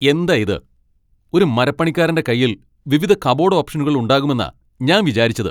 എന്താ ഇത് ? ഒരു മരപ്പണിക്കാരന്റെ കൈയിൽ വിവിധ കബോഡ് ഓപ്ഷനുകൾ ഉണ്ടാകുമെന്നാ ഞാൻ വിചാരിച്ചത്.